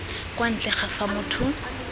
kwa ntle ga fa motho